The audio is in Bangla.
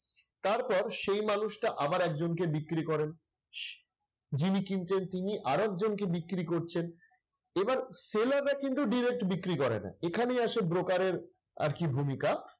তারপর সেই মানুষটা আবার একজনকে বিক্রি করেন। যিনি কিনতেন তিনি আরেকজনকে বিক্রি করছেন। এবার seller রা কিন্তু direct বিক্রি করে না। এখানেই আসে broker এর আরকি ভূমিকা।